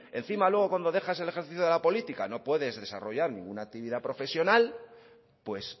encima luego cuando dejas el ejercicio de la política no puedes desarrollar ninguna actividad profesional pues